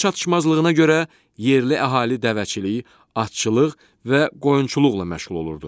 Su çatışmazlığına görə yerli əhali dəvəçilik, atçılıq və qoyunçuluqla məşğul olurdu.